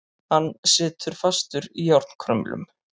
Hann situr fastur í járnkrumlum.